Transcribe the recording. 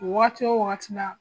Waati wo wagati la